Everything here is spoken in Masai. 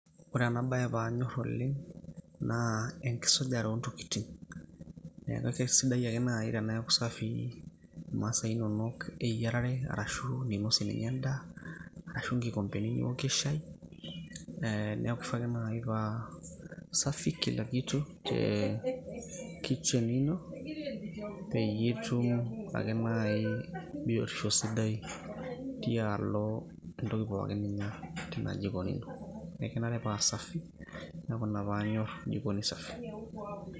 Ore ena bae panyor oleng',naa enkisujare ontokiting'. Na kesidai ake nai teneeku safii imasaa inonok eyiarare arashu ninosie ninye endaa, ashu nkikompeni niwokie shai, neku kishaa ake nai pa safi safi kila kitu, eh kitchen ino, peyie itum ake nai biotisho sidai tialo entoki pookin ninyor tina jikoni ino. Ekenare pa safi. Neeku ina panyor jikoni safi.